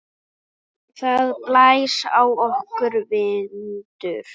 Það blæs á okkur vindur.